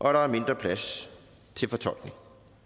er der er mindre plads til fortolkning